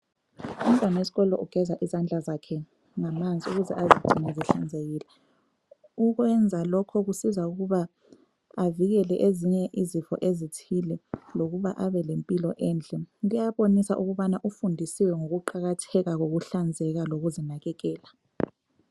Umntwana wesikolo ugeza izandla zakhe ngamanzi ukuze azigcine zihlanzekile. Ukwenza lokho kusiza ukuba avikele ezinye izifo ezithile lokuba abelempilo enhle. Kuyabonisa ukubana ufundisiwe ngokuqakatheka kokuhlanzeka lokuzinakekela.